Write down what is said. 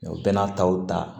O bɛɛ n'a taw ta